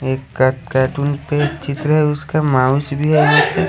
एक कर्र कार्टून के चित्र है उसके माउस भी ह--